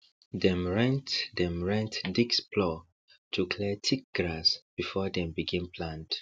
dem rent dem rent disc plor to clear thick grass before dem begin plant